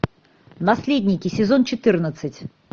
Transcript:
наследники сезон четырнадцать